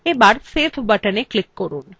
এবার save buttonএ click করুন